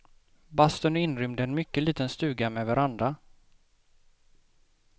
Bastun är inrymd i en mycket liten stuga med veranda.